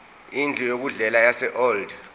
indlu yokudlela yaseold